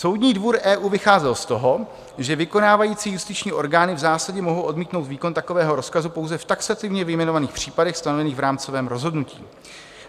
Soudní dvůr EU vycházel z toho, že vykonávající justiční orgány v zásadě mohou odmítnout výkon takového rozkazu pouze v taxativně vyjmenovaných případech stanovených v rámcovém rozhodnutí.